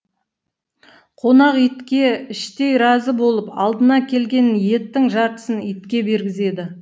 қонақ итке іштей разы болып алдына келген еттің жартысын итке бергізеді